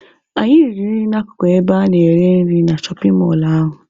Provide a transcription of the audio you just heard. Anyị riri nri na-akụkụ ebe a na-ere nri na shọpin mọlụ ahụ.